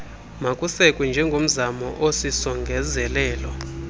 makusekwe njengomzamo osisongezelelo